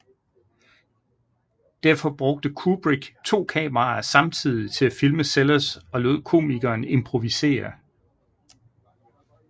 Derfor brugte Kubrick to kameraer samtidig til at filme Sellers og lod komikeren improvisere